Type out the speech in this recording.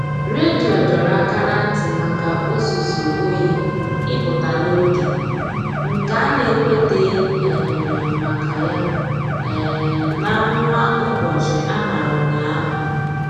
Redio dọrọ aka ná ntị maka ụzụzụ oyi ịpụta n'oge, nke a na-ekwuteghi um maka ya um n'amụma ụbọchị a mara ụnyaahụ.